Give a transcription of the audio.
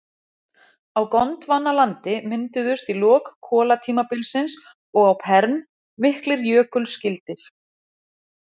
Á Gondvanalandi mynduðust í lok kolatímabilsins og á perm miklir jökulskildir.